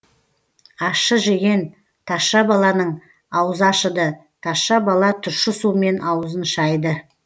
ащы жеген тазша баланың аузы ашыды тазша бала тұщы сумен аузын шайды